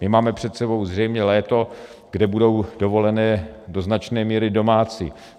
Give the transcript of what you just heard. My máme před sebou zřejmě léto, kde budou dovolené do značné míry domácí.